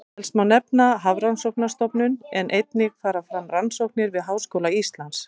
Helst má nefna Hafrannsóknastofnun en einnig fara fram rannsóknir við Háskóla Íslands.